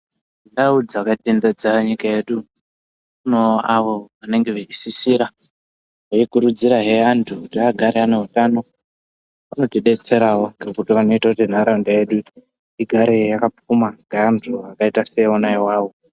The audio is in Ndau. Ndau dzakatenderedza nyika yedu kunewo avo vanenge vachisisira veikurudzirahe antu kuti agare ane utano vanotidetserawo nekuti vanoita kuti ntaraunda yedu igare yakapfuma ngeantu akaita seiwona awawo.